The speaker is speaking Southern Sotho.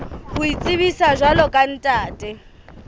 ho itsebisa jwalo ka ntate